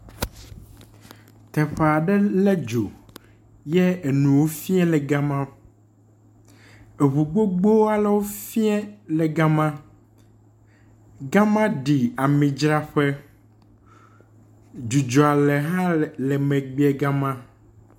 Teƒe aɖe le dzo ye enuwo fia le gama. Eŋu gbogbo alewo fie le gama. Gama ɖi amidzraƒe. Dzidzɔ ale hã le le emegbe le gama.